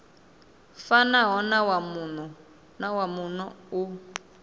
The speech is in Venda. fanaho na wa muno u